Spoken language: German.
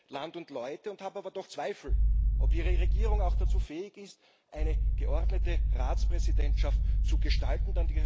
Ich schätze Land und Leute und habe aber doch Zweifel, ob Ihre Regierung auch dazu fähig ist, eine geordnete Ratspräsidentschaft zu gestalten.